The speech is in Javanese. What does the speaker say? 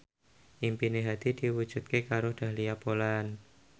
impine Hadi diwujudke karo Dahlia Poland